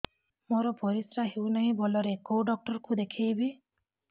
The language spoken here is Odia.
ମୋର ପରିଶ୍ରା ହଉନାହିଁ ଭଲରେ କୋଉ ଡକ୍ଟର କୁ ଦେଖେଇବି